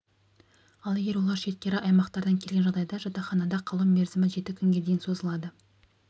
ал егер олар шеткері аймақтардан келген жағдайда жатақханада қалу мерзімі жеті күнге дейін созылады